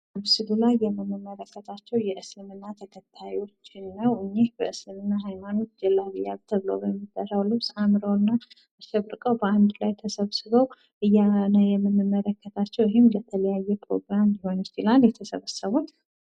ምስሉ ላይ የምንመለከታቸው የእስልምና ተከታዮች ናቸው። እኚህ በእስልምና ሃይማኖት ጀለቢያ ተብሎ በሚጠራው ልብስ አምረው እና አሸብርቀው በአንድ ላይ ተሰብስበው በአንድ ላይ ተሰብስበው ነው ምንመለከታቸው። ይሄም ለተለያየ ፕሮግራም ሊሆን ይችላል የተሰበሰቡጥ